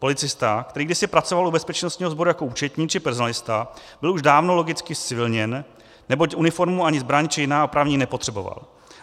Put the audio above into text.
Policista, který kdysi pracoval u bezpečnostního sboru jako účetní či personalista, byl už dávno logicky zcivilněn, neboť uniformu ani zbraň či jiná oprávnění nepotřeboval.